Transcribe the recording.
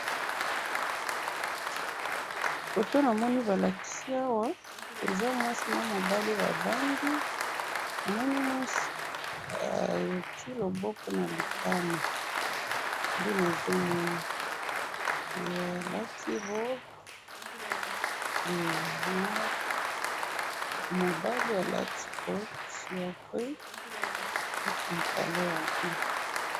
Na moni mwasi na mobali mwasi atii loboko na litama nde yango na moni.